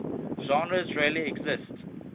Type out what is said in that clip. genres really exist